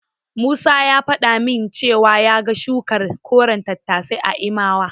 Musa ya faɗa min cewa ya ga shukar koren tattasai a Imawa.